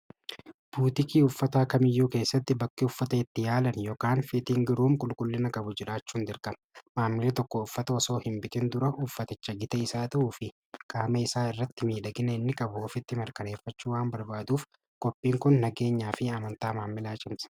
Buutikii uffataa kamiyyuu keessatti bakki uffata itti yaalan yookaan qulqullina qabu jiraachuu hin dirqama. maamilli tokko uffata osoo hin bitin dura uffaticha gita isaa ta'uu fi qaama isaa irratti miidhaginni inni markaneeffachu waan barbaaduuf qophiin kun nageenyaa fi amantaa maamilaa cimsa.